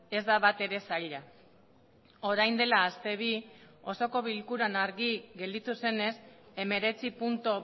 ez da batere zaila orain dela aste bi osoko bilkuran argi gelditu zenez hemeretzi puntu